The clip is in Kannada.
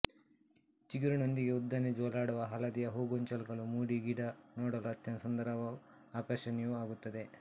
ಚಿಗುರಿನೊಂದಿಗೇ ಉದ್ದನೆ ಜೋಲಾಡುವ ಹಳದಿಯ ಹೂಗೊಂಚಲುಗಳು ಮೂಡಿ ಗಿಡ ನೋಡಲು ಅತ್ಯಂತ ಸುಂದರವೂ ಆಕರ್ಷಣೀಯವೂ ಆಗುತ್ತದೆ